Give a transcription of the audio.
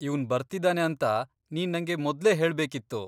ಇವ್ನ್ ಬರ್ತಿದಾನೆ ಅಂತ ನೀನ್ ನಂಗೆ ಮೊದ್ಲೇ ಹೇಳ್ಬೇಕಿತ್ತು.